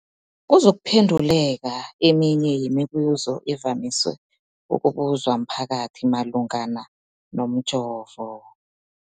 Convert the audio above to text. kuzokuphe nduleka eminye yemibu zo evamise ukubuzwa mphakathi malungana nomjovo.